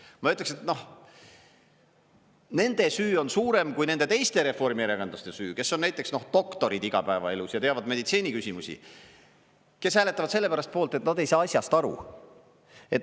Ma ütleks, et, noh, nende süü on suurem kui nende teiste reformierakondlaste süü, kes on näiteks doktorid igapäevaelus ja teavad meditsiiniküsimusi, kes hääletavad sellepärast poolt, et nad ei saa asjast aru.